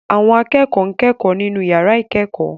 Àwọn akẹ́kọ̀ọ́ ń kẹ́kọ̀ọ́ nínú yàrá ìkẹ́kọ̀ọ́